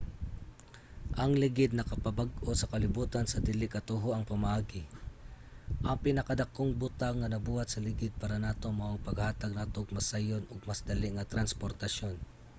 ang ligid nakapabag-o sa kalibutan sa dili katuohang pamaagi. ang pinakadakong butang nga nabuhat sa ligid para nato mao ang paghatag nato og mas sayon ug mas dali nga transportasyon